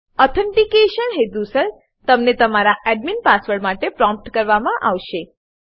authentication authentication હેતુસર તમને તમારા એડમિન એડમીન પાસવર્ડ માટે પ્રોમ્પ્ટ કરવામાં આવશે